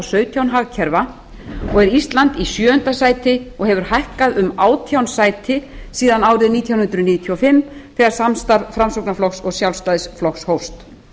sautján hagkerfa og er ísland í sjöunda sæti og hefur hækkað um átján sæti síðan árið nítján hundruð níutíu og fimm þegar samstarf framsfl og sjálfstfl hófst